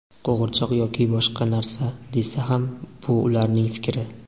qo‘g‘irchoq yoki boshqa narsa desa ham bu ularning fikri.